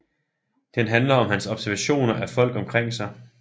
Den handler om hans observationer af folk omkring sig